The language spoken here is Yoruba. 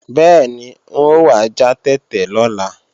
Bẹ́ẹ̀ni, n ò wá já tètè lọ́la